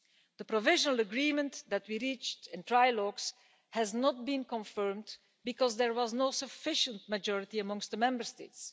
The provisional agreement that we reached in trilogues has not been confirmed, because there was no sufficient majority amongst the Member States.